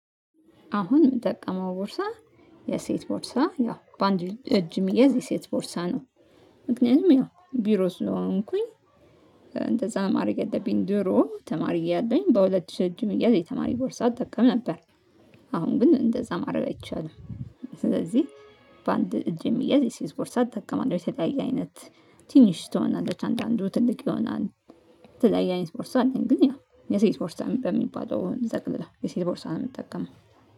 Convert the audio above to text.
አሁን የምጠቀመው ቦርሳ የሴት ቦርሳ ያው በአንድ እጅ የሚያዝ የሴት ቦርሳ ነው። ምክንያቱም ያው ቢሮ ስለሆንኩኝ። እንደዛ ማረገ ያለብኝ ድሮ ተማሪ እያለኝ በሁለት ሺህ ለመቶ እያለ የተማሪ ቦርሳ እጠቀም ነበር። አሁን ግን እንደዛ ማድረግ አይቻልም። ስለዚህ በአንድ እጅ የሚያዝ የሴት ቦርሳ እጠቀማለሁ፤። የተለያየ አይነት ትንሽ ትሆናለች አንድ አንዱ ትልቅ ይሆናል፤። የተለያየ አይነት ቦርሳ አለኝ ግን ያው የሴት ቦርሳ በሚባለው እንጠቅልለው የሴት ቦርሳ ነው የምትጠቀመው